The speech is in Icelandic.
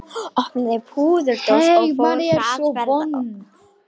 Opnaði púðurdós og fór hraðferð með kvasta yfir vangana.